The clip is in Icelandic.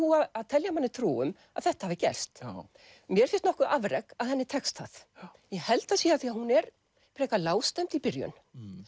að telja manni trú um að þetta hafi gerst mér finnst nokkuð afrek að henni tekst það ég held það sé af því að hún er frekar lágstemmd í byrjun